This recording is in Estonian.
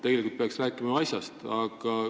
Tegelikult peaks rääkima asjast.